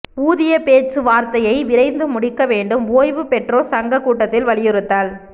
ஊதிய பேச்சு வார்த்தையை விரைந்து முடிக்க வேண்டும் ஓய்வு பெற்றோர் சங்க கூட்டத்தில் வலியுறுத்தல்